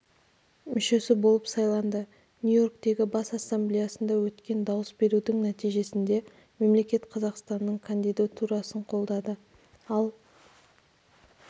мүшесі болып сайланды нью-йорктегі бас ассамблеясында өткен дауыс берудің нәтижесінде мемлекет қазақстанның кандидатурасын қолдады ал